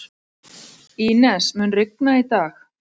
Ínes, mun rigna í dag?